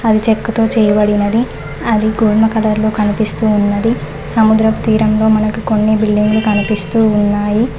అది చెక్కతో చేయబడినది అది గోధుమ కలర్ లో కనిపిస్తూ ఉన్నది సముద్రపు తీరంలో మనకి కొన్ని బిల్డింగ్లు కనిపిస్తూ ఉన్నాయి.